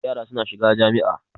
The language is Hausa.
Yara suna shiga jami'a.